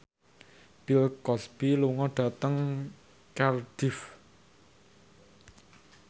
Bill Cosby lunga dhateng Cardiff